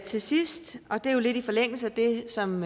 til sidst og det er jo lidt i forlængelse af det som